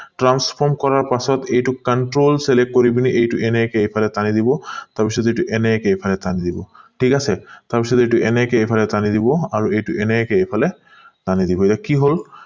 transform কৰাৰ পাছত এইটো control select কৰি পিনি এইটো এনেকে টানি দিব তাৰ পিছত এনেকে এইটো এইফালে টানি দিব ঠিক আছে তাৰ পিছত এইটো এনেকে এইফালে টানি দিব আৰু এইটো এনেকে এইফালে টানি দিব এতিয়া কি হল